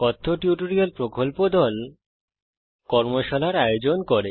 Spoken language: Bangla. কথ্য টিউটোরিয়াল প্রকল্প দল কর্মশালার আয়োজন করে